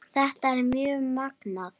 Þetta er mjög magnað.